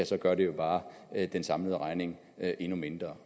så gør det jo bare den samlede regning endnu mindre